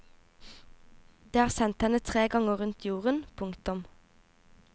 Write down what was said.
Det har sendt henne tre ganger rundt jorden. punktum